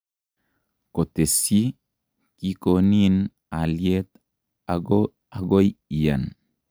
Kotesyi; Kikonin alyet ago agoi iyan.